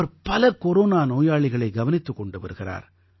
அவர் பல கொரோனா நோயாளிகளை கவனித்துக் கொண்டு வருகிறார்